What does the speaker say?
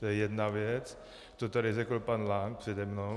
To je jedna věc, to tady řekl pan Lank přede mnou.